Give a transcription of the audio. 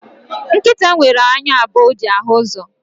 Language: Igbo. Nkịta nwere anya abụọ o ji ahụ uzo